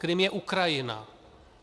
Krym je Ukrajina.